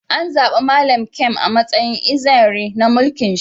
An zaba Mallam Nkem a'matsayin Eze Nri na mulki'n shi.